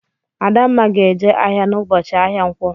Adanma ga-eje ahịa n'ụbọchị ahịa nkwọ.